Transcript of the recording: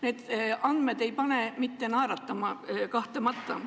Need andmed ei pane naeratama – kahtlemata.